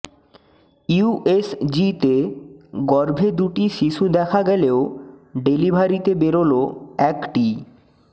ইউএসজিতে গর্ভে দুটি শিশু দেখা গেলেও ডেলিভারিতে বেরল একটিই